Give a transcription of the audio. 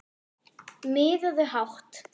Miðaðu hátt